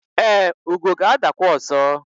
e, ugo ga-adakwa ọzọ